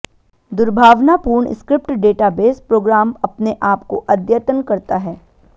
दुर्भावनापूर्ण script database program अपने आप को अद्यतन करता है